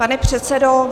Pane předsedo...